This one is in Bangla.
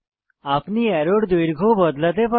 আপনি অ্যারোর দৈর্ঘ্য বদলাতে পারেন